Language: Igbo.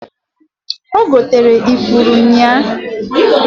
Ogotere ifuru ụnya.